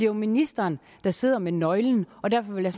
jo ministeren der sidder med nøglen og derfor vil jeg